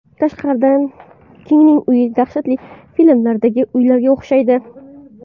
Tashqaridan Kingning uyi dahshatli filmlardagi uylarga o‘xshaydi.